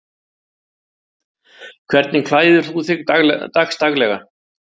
Hvernig klæðir þú þig dagsdaglega